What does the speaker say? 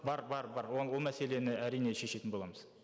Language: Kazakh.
бар бар бар ол мәселені әрине шешетін боламыз